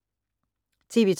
TV 2